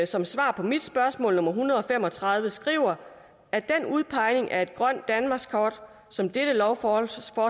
som svar på mit spørgsmål nummer en hundrede og fem og tredive skriver at den udpegning af grønt danmarkskort som dette lovforslag